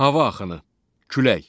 Hava axını, külək.